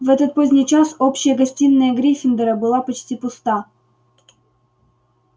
в этот поздний час общая гостиная гриффиндора была почти пуста